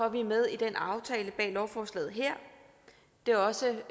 at vi er med i den aftale bag lovforslaget her det er også